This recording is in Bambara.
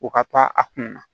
O ka taa a kun na